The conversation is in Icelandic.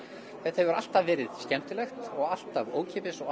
þetta hefur alltaf verið skemmtilegt og alltaf ókeypis og